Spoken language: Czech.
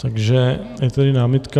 Takže je tady námitka.